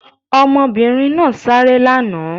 Ọmọbìnrin náà sáré lánàá?